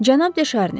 Cənab De Şarni.